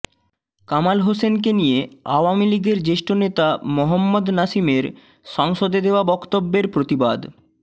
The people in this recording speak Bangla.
কামাল হোসেনকে নিয়ে আওয়ামী লীগের জ্যেষ্ঠ নেতা মোহাম্মদ নাসিমের সংসদে দেওয়া বক্তব্যের প্রতিবাদ